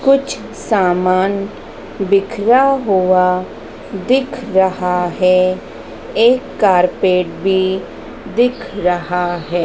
कुछ सामान बिखरा हुआ दिख रहा है एक कारपेट भी दिख रहा है।